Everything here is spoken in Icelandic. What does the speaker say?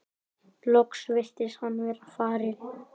Loks virtist hann vera farinn.